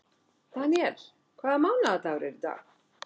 Deníel, hvaða mánaðardagur er í dag?